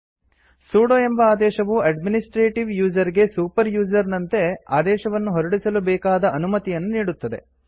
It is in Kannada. ಸುಡೊ ಎಂಬ ಆದೇಶವು ಅಡ್ಮಿನಿಸ್ಟ್ರೇಟೀವ್ ಯೂಸರ್ ಗೆ ಸೂಪರ್ ಯೂಸರ್ ನಂತೆ ಆದೇಶವನ್ನು ಹೊರಡಿಸಲು ಬೇಕಾದ ಅನುಮತಿಯನ್ನು ನೀಡುತ್ತದೆ